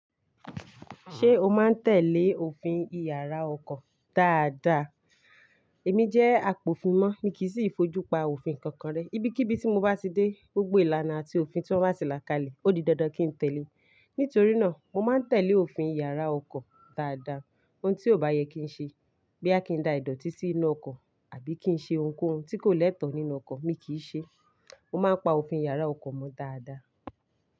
Ṣé o máa ń tẹ̀lé òfin ìyàrá ọkọ̀ dáadáa? Èmi jẹ́ apòfin mọ́, mi kì í fojú pa òfin kankan rẹ. Ibi kí ibi tí mo bá ti dé, gbogbo ìlànà àti òfin tí wọ́n bá sì làkálẹ̀, ó di dandan kí n tẹ̀lé. Nítorí náà, mo máa ń tẹ̀lé òfin ìyàrá ọkọ̀ dáadáa. Ohun tí ò bá yẹ kí ń ṣe, bí à kí ń da ìdọ̀tí sí inú ọkọ̀ àbí kí ń ṣe ohunkóhun tí kò lẹ́tọ̀ọ́ nínú ọkọ̀, mi kì í ṣe. Mo máa ń pa òfin ìyàrá ọkọ̀ mọ dáadáa.